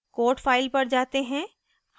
code file पर जाते हैं